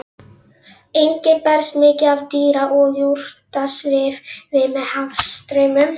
Einnig berst mikið af dýra- og jurtasvifi með hafstraumum.